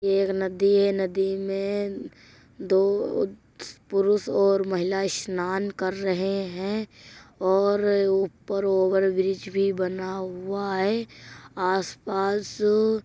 ये एक नदी है। नदी में दो पुरुष और महिला इ स्नान कर रहे हैं और ऊपर ओवरब्रिज भी बना हुआ है। आसपास --